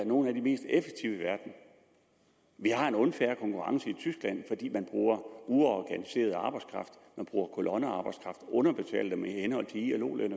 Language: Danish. nogle af de mest effektive i verden vi har en unfair konkurrence med tyskland fordi de bruger uorganiseret arbejdskraft bruger kolonnearbejdskraft underbetaler dem i henhold til ilo løn